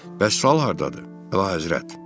Bəs sal hardadır, Vəhəzrət?